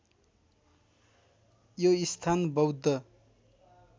यो स्थान बौद्ध